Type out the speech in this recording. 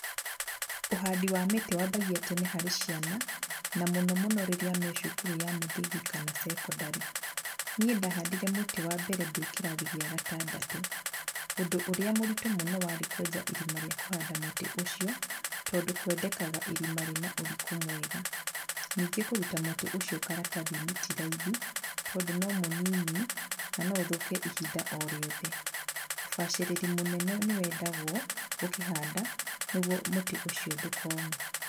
Ũhandi wa mĩtĩ wambagia tene harĩ ciana, na mũno mũno rĩrĩa marĩ cukuru ya mũthingi kana secondary. Niĩ ndahandire mũtĩ wa mbere ndĩ kĩrathi kĩa gatandatũ. Ũndũ ũrĩa mũritũ mũno warĩ kũenja irima rĩa kũhanda mũtĩ ũcio, tondũ kwendekaga irima rĩnene na ũriku mwega. Ningĩ kũruta mũtĩ ũcio karatath-inĩ ti raithi, tondũ no mũnini, na no ũthũke ihinda o rĩothe. Ũbacĩrĩri mũnene nĩwendagwo ũkĩhanda, nĩguo mũtĩ ũcio ndũkome.